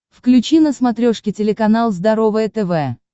включи на смотрешке телеканал здоровое тв